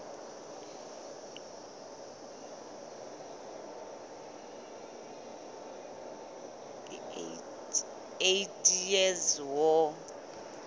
eighty years war